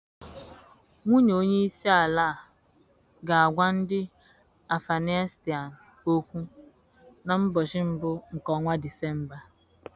Nwunye onye isi àlà ga-agwa ndị Afganịstan okwu na mbochi mbụ nke ọnwa Disemba.